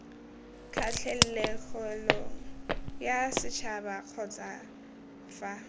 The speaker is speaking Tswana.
kgatlhegelong yasetšhaba kgotsa c fa